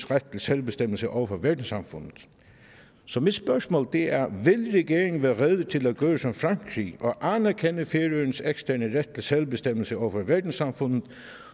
ret til selvbestemmelse over for verdenssamfundet så mit spørgsmål er vil regeringen være rede til at gøre som frankrig og anerkende færøernes eksterne ret til selvbestemmelse over for verdenssamfundet